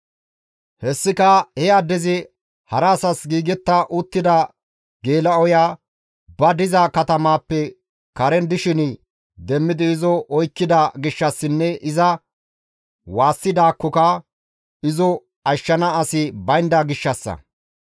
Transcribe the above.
Hessika he addezi hara asas giigetta uttida geela7oya ba diza katamappe karen dishin demmidi izo oykkida gishshassinne iza waassidaakkoka izo ashshana asi baynda gishshassa.